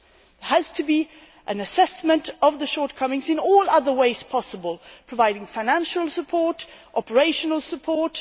There has to be an assessment of the shortcomings in all other ways possible, such as providing financial and operational support.